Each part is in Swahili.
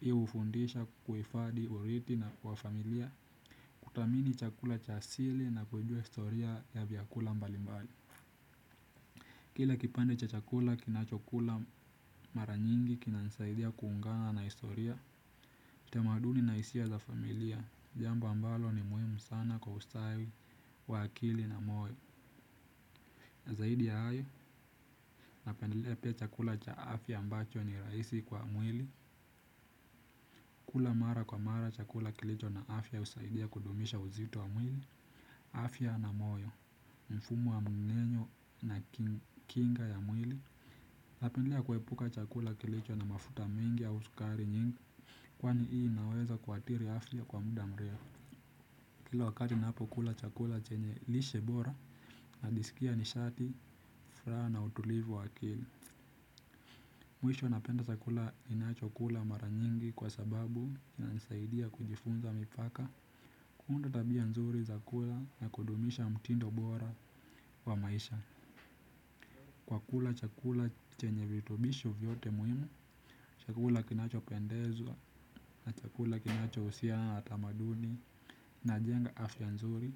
Hii hufundisha kuhifadhi urithi na kwa familia. Kudhamini chakula cha asili na kujua historia ya vyakula mbali mbali. Kile kipande cha chakula kinacho kula mara nyingi kina nisaidia kuungana na historia tamaduni na hisia za familia. Jambo ambalo ni muhimu sana kwa ustawi, wa akili na moyo. Zaidi ya hayo, napendelea pia chakula cha afya ambacho ni rahisi kwa mwili. Kula mara kwa mara chakula kilicho na afya husaidia kudumisha uzito wa mwili. Afya na moyo mfumu wa mmenyo na kinga ya mwili napendelea kuepuka chakula kilicho na mafuta mingi au sukari nyingi. Kwani hii inaweza kuathiri afya kwa muda mrefu. Kila wakati ninapo kula chakula chenye lishe bora najisikia nishati, furaha na utulivu waakili. Mwisho napenda chakula ninachokula mara nyingi kwa sababu inanisaidia kujifunza mipaka. Kuunda tabia nzuri zakula na kudumisha mtindo bora wa maisha wakula chakula chenye vitubisho vyote muhimu, chakula kinacho pendezwa, na chakula kinacho husiana na tamaduni, na jenga afya nzuri,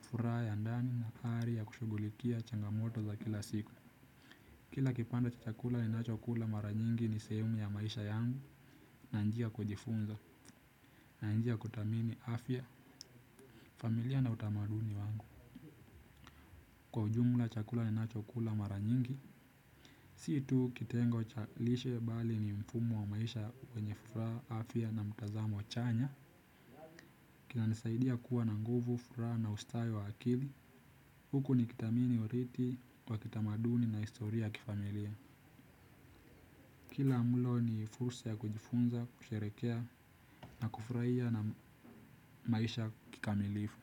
furaha ya ndani na ari ya kushughulikia changamoto za kila siku. Kila kipande cha chakula ninacho kula mara nyingi ni sehemu ya maisha yangu, na njia kujifunza, na njia kudhamini afya, familia na utamaduni wangu. Kwa ujumla chakula ninacho kula mara nyingi si tu kitengo chalishe bali ni mfumo wa maisha wenye furaha afya na mtazamo chanya. Kina nisaidia kuwa na nguvu furaha na ustawi wa akili. Huku nikidhamini oridhii wa kitamaduni na historia ya kifamilia kila mulo ni fursa ya kujifunza kusherekea na kufurahia na maisha kikamilifu.